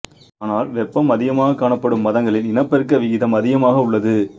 ஆனால் வெப்பம் அதிகமாகக் காணப்படும் மாதங்களில் இனப்பெருக்க விகிதம் அதிகமாக உள்ளது